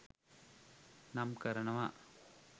නම් කරනව